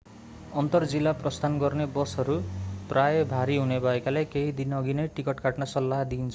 अन्तर-जिल्ला प्रस्थान गर्ने बसहरू प्राय भरि हुने भएकाले केही दिनअघि नै टिकट काट्न सल्लाह दिइन्छ